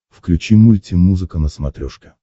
включи мульти музыка на смотрешке